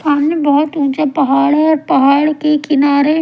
सामने बहुत ऊंचा पहाड़ है और पहाड़ के किनारे--